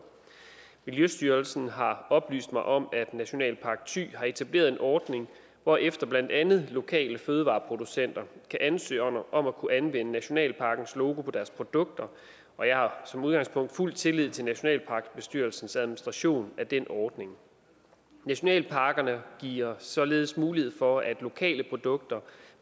miljøstyrelsen har oplyst mig om at nationalpark thy har etableret en ordning hvorefter blandt andet lokale fødevareproducenter kan ansøge om at kunne anvende nationalparkens logo på deres produkter og jeg har som udgangspunkt fuld tillid til nationalparkbestyrelsens administration af den ordning nationalparkerne giver således mulighed for at lokale produkter